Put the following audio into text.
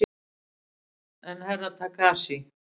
En Herra Takashi?